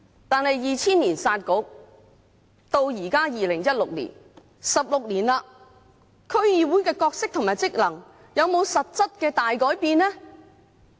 但是 ，2000 年"殺局"到現在2016年 ，16 年了，區議會的角色和職能有沒有實質大改變呢？